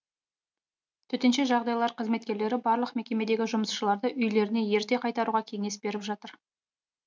төтенше жағдайлар қызметкерлері барлық мекемедегі жұмысшыларды үйлеріне ерте қайтаруға кеңес беріп жатыр